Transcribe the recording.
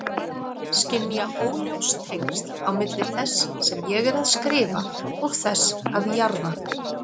Skynja óljós tengsl á milli þess sem ég er að skrifa og þess að jarða.